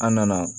An nana